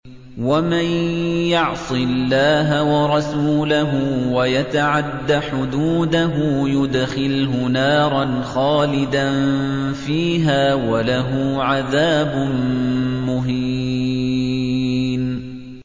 وَمَن يَعْصِ اللَّهَ وَرَسُولَهُ وَيَتَعَدَّ حُدُودَهُ يُدْخِلْهُ نَارًا خَالِدًا فِيهَا وَلَهُ عَذَابٌ مُّهِينٌ